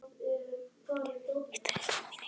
Friðsemd, hvað er í dagatalinu mínu í dag?